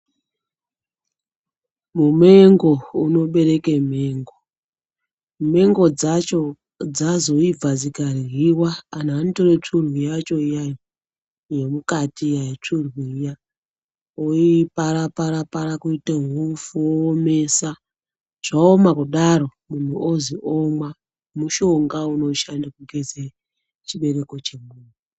Mumengo unobereke mengo, mengo dzacho dzazoibva dzikarwiwa, anthu anotora tsvomhu yacho iya-iya, yemukati iya tsvomhu iya ,voipara-para-para kuita upfu oiomesa zvaoma kudaro, munthu ozwi omwa, mushonga unoshanda kugeza chibereko chemunthu.